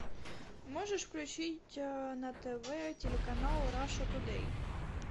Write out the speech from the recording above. можешь включить на тв телеканал раша тудэй